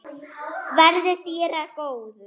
Verði þér að góðu.